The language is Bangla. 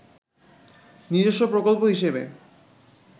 নিজস্ব প্রকল্প হিসেবে